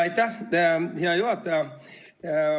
Aitäh, hea juhataja!